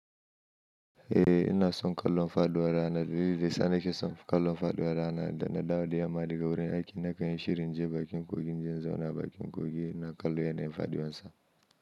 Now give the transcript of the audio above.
Eh, ina son kallon faɗuwa rana, dallilin da yasa nake son kallon faɗuwa rana, da na dawo da yamman daga wurin aikin na kan yi shiri inje bakin kogi, in je in zauna a bakin kogi ina kallon yanayin faduwan sa.